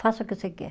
Faça o que você quer.